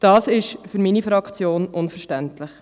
Das ist für meine Fraktion unverständlich.